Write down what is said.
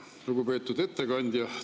Lugupeetud ettekandja!